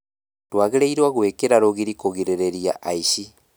Tũagĩrĩirwo gũĩkĩra rũgiri kũgirĩrĩria aici